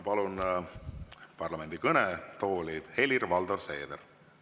Palun parlamendi kõnetooli Helir-Valdor Seederi.